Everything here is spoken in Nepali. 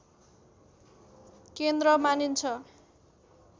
केन्द्र मानिन्छ